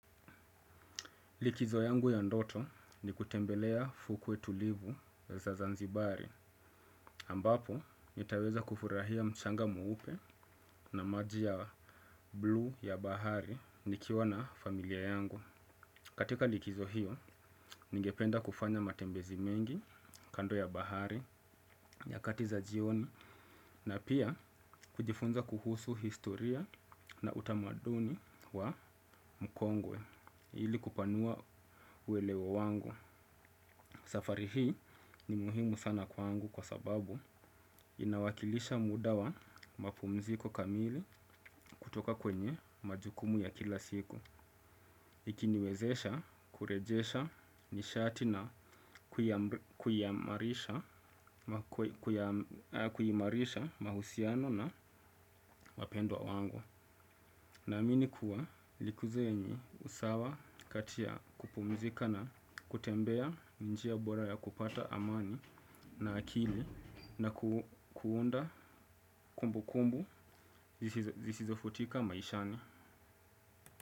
Likizo yangu ya ndoto ni kutembelea fukwe tulivu za Zanzibari, ambapo nitaweza kufurahia mchanga mweupe na maji ya bluu ya bahari nikiwa na familia yangu. Katika likizo hiyo, ningependa kufanya matembezi mengi kando ya bahari, nyakati za jioni, na pia kujifunza kuhusu historia na utamaduni wa mkongwe ili kupanua uelewa wangu. Safari hii ni muhimu sana kwangu kwa sababu inawakilisha muda wa mapumziko kamili kutoka kwenye majukumu ya kila siku. Ikiniwezesha kurejesha nishati na kuimarisha mahusiano na wapendwa wangu. Naamini kuwa likizo yenye usawa kati ya kupumzika na kutembea ni njia bora ya kupata amani na akili na kuunda kumbu kumbu zisizofutika maishani.